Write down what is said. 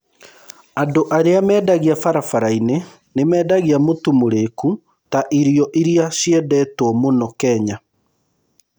Andũ arĩa mendagia barabara-inĩ nĩ mendagia mũtu mũriku ta irio iria ciendetwo mũno Kenya.